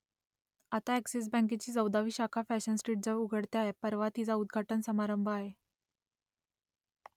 आता अ‍ॅक्सिस बँकेची चौदावी शाखा फॅशन स्ट्रीटजवळ उघडते आहे परवा तिचा उद्घाटन समारंभ आहे